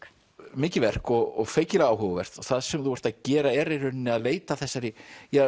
mikið verk og feikilega áhugavert það sem þú ert að gera er í rauninni að leita að þessari